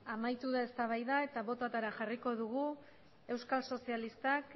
amaitu da eztabaida eta botoetara jarriko dugu euskal sozialistak